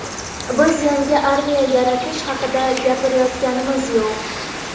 Biz yangi armiya yaratish haqida gapirayotganimiz yo‘q.